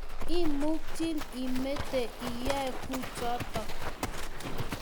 imukchin imete iyae kuchotok